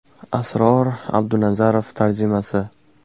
Asror Abdunazarov tarjimasi !